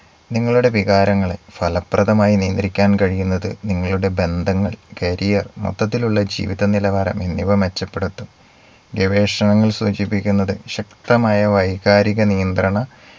നിങ്ങളുടെ വികാരങ്ങളെ ഫലപ്രദമായി നിയന്ത്രിക്കാൻ കഴിയുന്നത് നിങ്ങളുടെ ബന്ധങ്ങൾ career മൊത്തത്തിലുള്ള ജീവിത നിലവാരം എന്നിവ മെച്ചപ്പെടുത്തും. ഗവേഷണങ്ങൾ സൂചിപ്പിക്കുന്നത് ശക്തമായ വൈകാരിക നിയന്ത്രണ